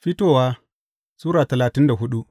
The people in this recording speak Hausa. Fitowa Sura talatin da hudu